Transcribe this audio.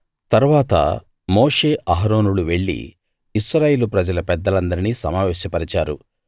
తరువాత మోషే అహరోనులు వెళ్లి ఇశ్రాయేలు ప్రజల పెద్దలందరినీ సమావేశ పరిచారు